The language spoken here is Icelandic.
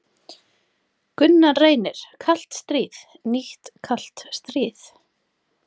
Gunnar Reynir: Kalt stríð, nýtt kalt stríð?